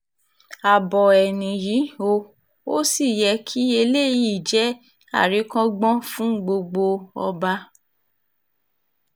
abo ẹ̀ nìyí o ò sì yẹ kí eléyìí jẹ́ àríkọ́gbọ́n fún gbogbo ọba